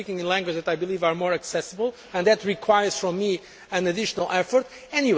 I am speaking in languages that I believe are more accessible and that requires an additional effort from me.